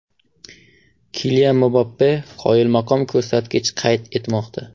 Kilian Mbappe qoyilmaqom ko‘rsatkich qayd etmoqda.